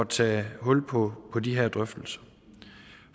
tage hul på de her drøftelser